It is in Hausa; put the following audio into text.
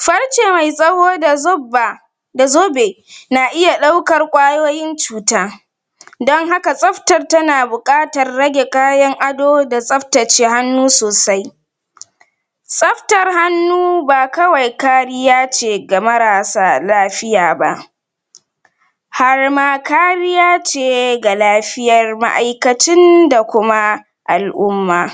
farce zai tsawo da zubba da zobe na iya ɗaukar ƙwayoyin cuta don haka tsaftar tana buƙatar rage kayan ado da tsaftace hannu sosai tsaftar hannu ba kawai kariya ce ga marasa lafiya ba har ma kariya ce ga lafiyar ma'aikacin da kuma al'umma.